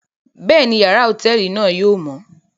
Bẹẹni, yàrá hotẹẹli náà yóò mọ